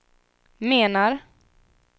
menar